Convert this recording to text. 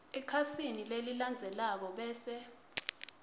ekhasini lelilandzelako bese